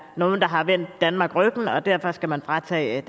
nogle der har vendt danmark ryggen og derfor skal man fratage